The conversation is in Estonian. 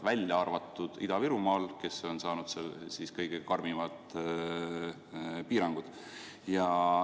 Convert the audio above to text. Välja arvatud Ida-Virumaal, kes on saanud kõige karmimad piirangud.